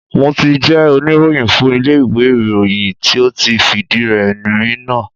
Mo ti jẹ́ oníròyìn fún ilé iwe ìròyìn tí ó ti fìdí rẹ'mi náà.